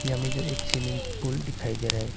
हमें जो एक स्विमिंग पूल दिखाई दे रहा है।